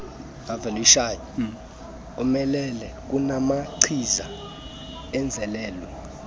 omelele kunamachiza enzelwe